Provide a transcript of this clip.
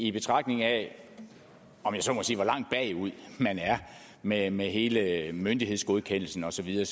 i betragtning af om jeg så må sige hvor langt bagud man er med med hele myndighedsgodkendelsen og så videre